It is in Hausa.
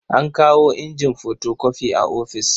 An kawo injin fotokofi a ofis.